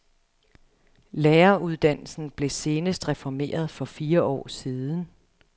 Læreruddannelsen blev senest reformeret for fire år siden.